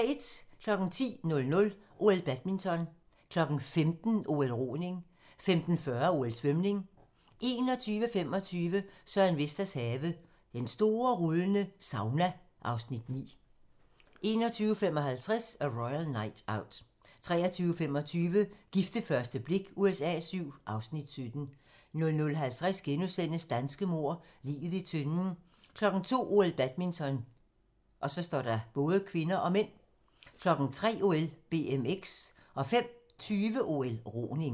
10:00: OL: Badminton 15:00: OL: Roning 15:40: OL: Svømning 21:25: Søren Vesters have - Den store rullende sauna (Afs. 9) 21:55: A Royal Night Out 23:25: Gift ved første blik USA VII (Afs. 17) 00:50: Danske mord – Liget i tønden * 02:00: OL: Badminton (k) (m) 03:00: OL: BMX 05:20: OL: Roning